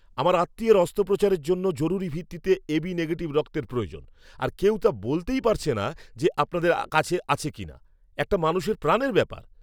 আমার আত্মীয়ের অস্ত্রোপচারের জন্য জরুরি ভিত্তিতে এবি নেগেটিভ রক্তের প্রয়োজন আর কেউ তো বলতেই পারছে না যে আপনাদের কাছে আছে কি না। একটা মানুষের প্রাণের ব্যাপার!